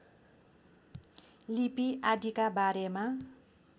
लिपि आदिका बारेमा